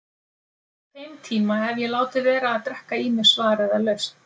Á þeim tíma hef ég látið vera að drekka í mig svar eða lausn.